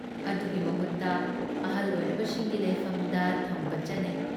ꯑꯗꯨꯒꯤ ꯃꯍꯨꯠꯇ ꯑꯍꯜ ꯑꯣꯏꯔꯕꯁꯤꯡꯒꯤ ꯂꯩꯐꯝꯗ ꯊꯝꯕ ꯆꯠꯅꯩ ꯫